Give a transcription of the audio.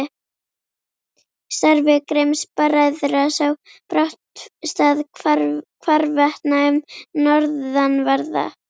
Starfi Grimms-bræðra sá brátt stað hvarvetna um norðanverða